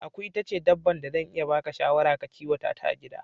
Aku ita ce dabban da zan iya baka shawara a kan ka kiwata ta a gida